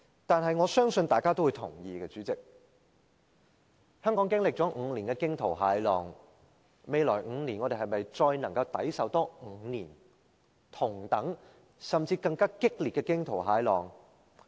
但是，我相信大家都會同意，主席，香港經歷了5年的驚濤駭浪，我們能否再抵受未來5年同等甚至更激烈的驚濤駭浪？